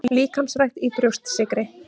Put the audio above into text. Líkamsrækt í Brjóstsykri